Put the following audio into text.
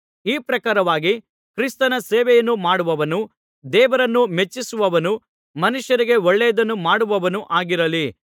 ಈ ಪ್ರಕಾರವಾಗಿ ಕ್ರಿಸ್ತನ ಸೇವೆಯನ್ನು ಮಾಡುವವನು ದೇವರನ್ನು ಮೆಚ್ಚಿಸುವವನೂ ಮನುಷ್ಯರಿಗೆ ಒಳ್ಳೆಯದನ್ನು ಮಾಡುವವನೂ ಆಗಿರಲಿ